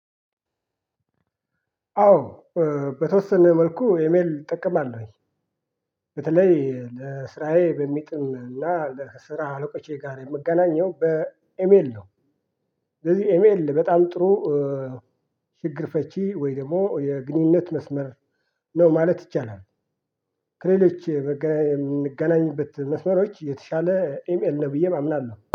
አዎ በተወሰነ መልኩ ኢሜል እጠቀማለሁ በተለይ ለስራዬ በሚጥም እና ለስራ አለቆቼ ጋር የምገናኘው በኤሜል ነው። ስለዚህ ኤሜል በጣም ጥሩ ችግር ፈቺ ወይ ደግሞ የግንኙነት መስመር ነው ማለት ይቻላል። ከሌሎች የምንገናኝበት መስመሮች የተሻለ ኢሜይል ነው ብየ አምናለሁ